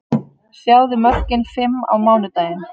Sjáðu mörkin fimm á mánudaginn: